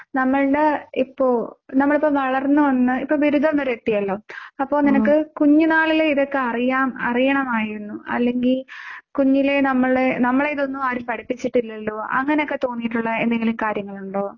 നമ്മളുടെ ഇപ്പോ നമ്മളിപ്പോ വളർന്ന് വന്നു ഇപ്പോ ബിരുദം വരെ എത്തിയല്ലോ. അപ്പോ നിനക്ക് കുഞ്ഞ് നാളിലെ ഇതൊക്കെ അറിയാം അറിയണമായിരുന്നു അല്ലെങ്കിൽ കുഞ്ഞിലേ നമ്മളെ നമ്മളെ ഇതൊന്നും ആരും പഠിപ്പിച്ചിട്ടില്ലല്ലോ അങ്ങനൊക്കെ തോന്നിയിട്ടുള്ള എന്തെങ്കിലും കാര്യങ്ങൾ ഉണ്ടോ?